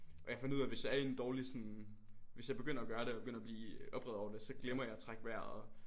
Og jeg fandt ud af hvis jeg er i en dårlig sådan hvis jeg begynder at gøre det og begynder at blive oprevet over det så glemmer jeg at trække vejret